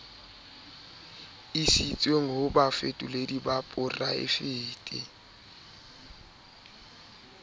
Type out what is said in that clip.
isitsweng ho bafetoledi ba poraefete